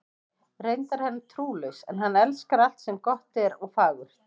Reyndar er hann trúlaus, en hann elskar alt sem gott er og fagurt.